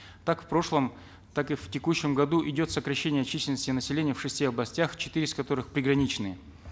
так в прошлом так и в текущем году идет сокращение численности населения в шести областях четыре из которых приграничные